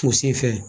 U sen fɛ